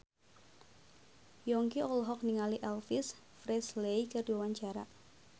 Yongki olohok ningali Elvis Presley keur diwawancara